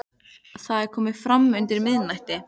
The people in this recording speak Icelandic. Það er komið fram undir miðnætti.